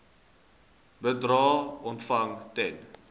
bedrae ontvang ten